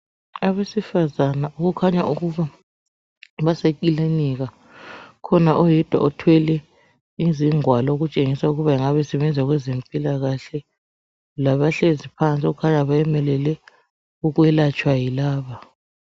Abesifazane okukhanya ukuba abasekilinika ukhona oyedwa othwele izigwalo okutshengisa ukuthi engabe esebenza kwezempilakahle labahlezi phansi okukhanya bayemelele ukwelatshwa yilaba.